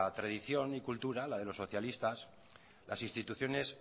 tradición y cultura la de los socialistas las instituciones